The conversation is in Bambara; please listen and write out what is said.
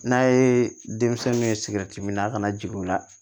N'a ye denmisɛnninw ye sigɛriti minna kana jigin o la